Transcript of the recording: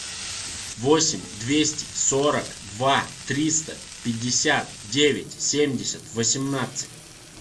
восемь двести сорок два триста пятьдесят девять семьдесят восемнадцать